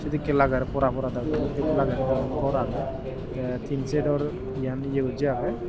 sedekke lager pora pora dangor dokke lager diyan gor age te tin set or iyan ye gosse age.